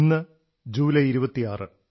ഇന്ന് ജൂലൈ 26 ആണ്